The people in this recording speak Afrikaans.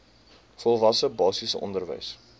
volwasse basiese onderwys